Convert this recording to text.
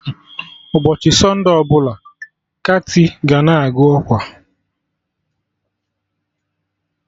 Ụbọchị sọnde ọbụla, kati ga na-agụ ọkwa